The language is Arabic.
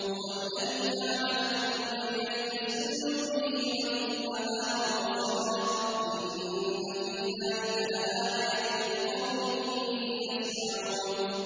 هُوَ الَّذِي جَعَلَ لَكُمُ اللَّيْلَ لِتَسْكُنُوا فِيهِ وَالنَّهَارَ مُبْصِرًا ۚ إِنَّ فِي ذَٰلِكَ لَآيَاتٍ لِّقَوْمٍ يَسْمَعُونَ